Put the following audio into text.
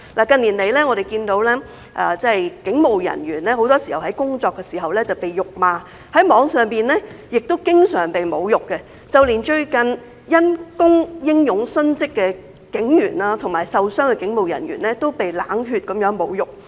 近年，我們看到警務人員在工作的時候經常被辱罵，在網絡上亦經常被侮辱，連最近因公英勇殉職和受傷的警務人員都被冷血地侮辱。